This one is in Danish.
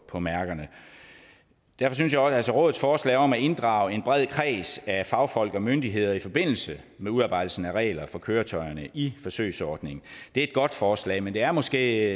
på mærkerne derfor synes jeg også at rådets forslag om at inddrage en bred kreds af fagfolk og myndigheder i forbindelse med udarbejdelsen af regler for køretøjerne i forsøgsordningen er et godt forslag men det er måske